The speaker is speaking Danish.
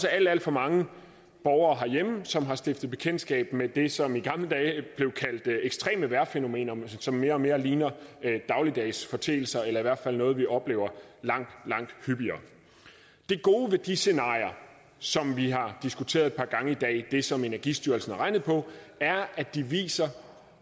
er alt alt for mange borgere herhjemme som har stiftet bekendtskab med det som i gamle dage blev kaldt ekstreme vejrfænomener men som mere og mere ligner dagligdagsforeteelser eller i hvert fald noget vi oplever langt langt hyppigere det gode ved de scenarier som vi har diskuteret et par gange i dag det som energistyrelsen har regnet på er at de viser